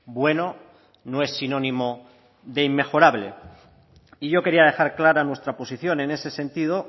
bueno no es sinónimo de inmejorable y yo quería dejar clara nuestra posición en ese sentido